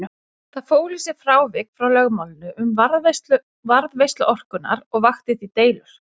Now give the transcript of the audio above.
Það fól í sér frávik frá lögmálinu um varðveislu orkunnar og vakti því deilur.